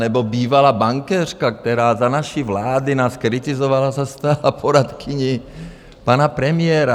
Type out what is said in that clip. Nebo bývalá bankéřka, která za naší vlády nás kritizovala, se stala poradkyní pana premiéra.